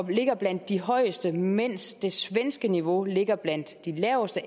ligger blandt de højeste mens det svenske niveau ligger blandt de laveste